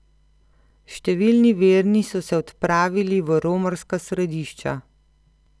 Številni verni so se odpravili v romarska središča.